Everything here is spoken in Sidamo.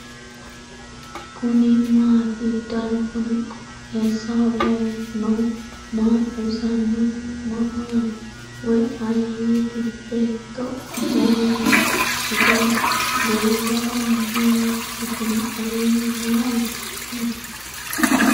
kuni maati ? danu kuni qooxeessaho leellannohu maa xawisanno su'mu maati woy ayeti ? betto afoo hiitto ikkite no ? goowaho maa wodhitino aleeeni maa uddidino ?